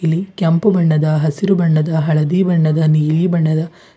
ಕೆಂಪು ಬಣ್ಣದ ಹಸಿರು ಬಣ್ಣದ ಹಳದಿ ಬಣ್ಣದ ನೀಲಿ ಬಣ್ಣದ --